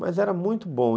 Mas era muito bom.